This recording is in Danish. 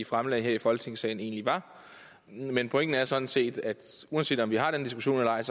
fremlagde her i folketingssalen egentlig var men pointen er sådan set at uanset om vi har den diskussion eller ej